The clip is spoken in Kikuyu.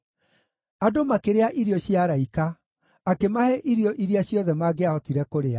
Andũ makĩrĩa irio cia araika; akĩmahe irio iria ciothe mangĩahotire kũrĩa.